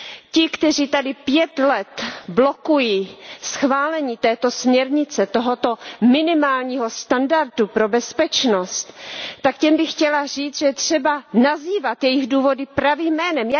Ti, kteří tady 5 let blokují schválení této směrnice, tohoto minimálního standardu pro bezpečnost, tak těm bych chtěla říci, že je třeba nazývat jejich důvody pravým jménem.